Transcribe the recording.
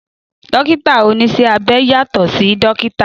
Dókítà oníṣẹ́ abẹ yàtọ̀ sí dókítà